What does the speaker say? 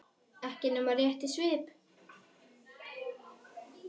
Ekki nema rétt í svip.